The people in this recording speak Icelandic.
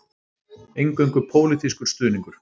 Eingöngu pólitískur stuðningur